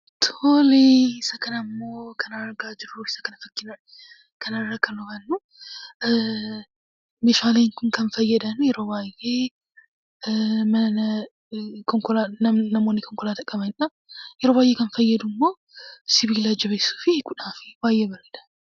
Isa kana immoo kan argaa jirruu, kana irraa kan hubannu, meeshaaleen Kun kan fayyadan yeroo baayyee namoonni konkolaataa qabdanidha. Yeroo baayyee kan fayyadu immoo sibiila jabeessuu fi hiikuufidha.